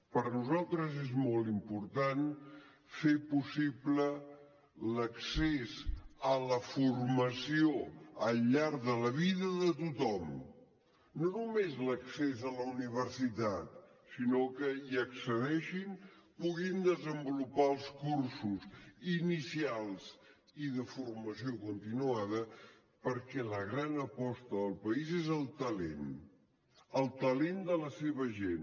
per a nosaltres és molt important fer possible l’accés a la formació al llarg de la vida de tothom no només l’accés a la universitat sinó que hi accedeixin puguin desenvolupar els cursos inicials i de formació continuada perquè la gran aposta del país és el talent el talent de la seva gent